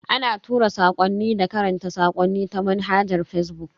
Ana tura sakwanni da karanta sakonni ta manhajar fazbuk.